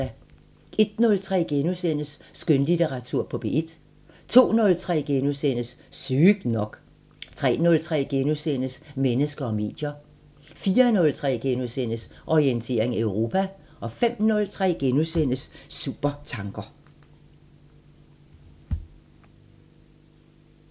01:03: Skønlitteratur på P1 * 02:03: Sygt nok * 03:03: Mennesker og medier * 04:03: Orientering Europa * 05:03: Supertanker